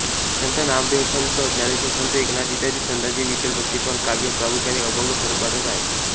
संत नामदेवसंत ज्ञानेश्वर संत एकनाथ इत्यादी संतांचे विठ्ठलभक्तिपर काव्य प्रामुख्याने अभंग स्वरूपातच आहे